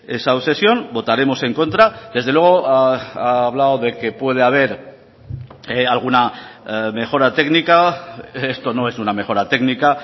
esa obsesión votaremos en contra desde luego ha hablado de que puede haber alguna mejora técnica esto no es una mejora técnica